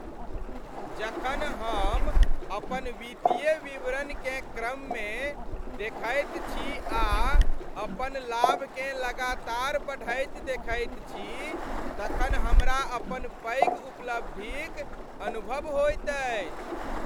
जखन हम अपन वित्तीय विवरणकेँ क्रममे देखैत छी आ अपन लाभकेँ लगातार बढ़ैत देखैत छी तखन हमरा अपन पैघ उपलब्धिक अनुभव होइत अछि।